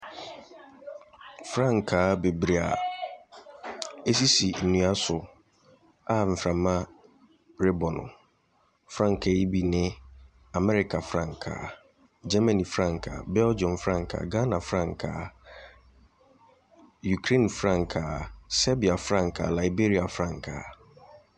Frankaa bebree a ɛsisi nnua so a mframa rebɔ no. Frankaa yi bi ne America frankaa, Germany frankaa, Belghium frankaa, Ghana frankaa. Ukraine frankaa, Selbia frankaa, Liberia frankaa.